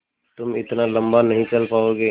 तुम इतना लम्बा नहीं चल पाओगे